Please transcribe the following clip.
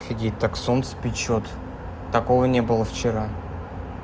офигеть так солнце печёт такого не было вчера